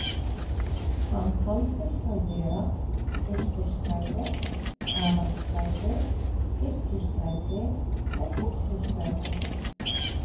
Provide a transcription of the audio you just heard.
Hann taldist þá vera Austurstræti, Aðalstræti, Kirkjustræti og Pósthússtræti.